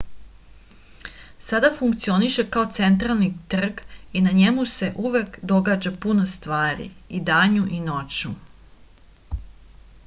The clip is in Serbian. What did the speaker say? sada funkcioniše kao centralni trg i na njemu se uvek događa puno stvari i danju i noću